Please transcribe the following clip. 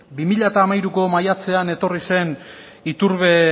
bi mila hamairuko maiatzean etorri zen iturbe